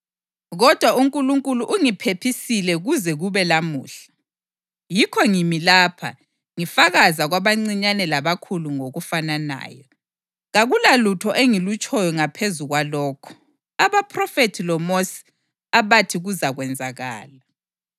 Kodwa uNkulunkulu ungiphephisile kuze kube namuhla, yikho ngimi lapha ngifakaza kwabancinyane labakhulu ngokufananayo. Kakulalutho engilutshoyo ngaphezu kwalokho abaphrofethi loMosi abathi kuzakwenzakala,